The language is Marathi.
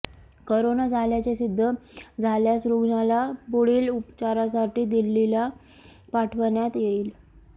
कोरोना झाल्याचे सिद्ध झाल्यास रुग्णाला पुढील उपचारासाठी दिल्लीला पाठवण्यात येईल